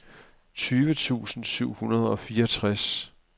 tyve tusind syv hundrede og fireogtres